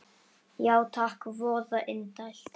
Já takk, voða indælt